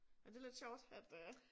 Ja det lidt sjovt at øh